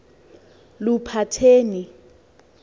luphatheni